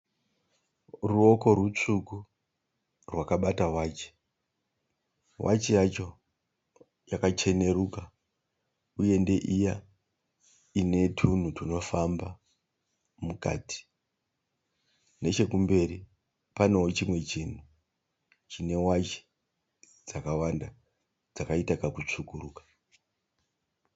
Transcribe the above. Ruoko rutsvuku rwakabata wachi. Wachi yacho yakacheneruka uye ndeiya ine tunhu tunofamba mukati. Nechekumberi paneo chimwe chinhu chine wachi dzakawanda dzakaita kakutsvukuruka.